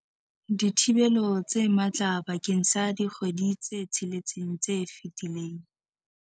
dithibelo tse matla bakeng sa dikgwedi tse tsheletseng tse fetileng.